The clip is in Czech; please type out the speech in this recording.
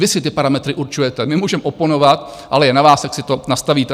Vy si ty parametry určujete, my můžeme oponovat, ale je na vás, jak si to nastavíte.